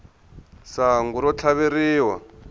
sangu ro tlhaveriwa